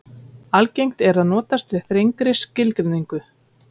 Þeir sem aldrei hafa átt skjótt hross sækjast sennilega ekki mikið eftir að eignast þau.